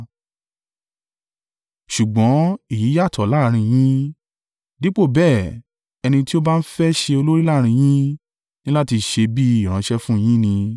Ṣùgbọ́n èyí yàtọ̀ láàrín yín. Dípò bẹ́ẹ̀, ẹni tí ó bá ń fẹ́ ṣe olórí láàrín yín, ní láti ṣe bí ìránṣẹ́ fún yín ni,